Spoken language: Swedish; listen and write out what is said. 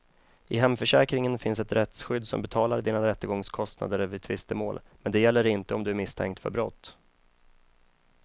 I hemförsäkringen finns ett rättsskydd som betalar dina rättegångskostnader vid tvistemål, men det gäller inte om du är misstänkt för brott.